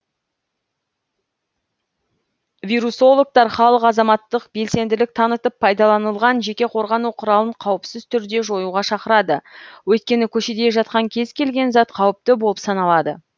вирусологтар халықты азаматтық белсенділік танытып пайдаланылған жеке қорғану құралын қауіпсіз түрде жоюға шақырады өйткені көшеде жатқан кез келген зат қауіпті болып саналады